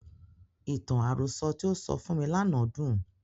Ìtàn àròsọ tí o sọ fún mi lánàá dùn.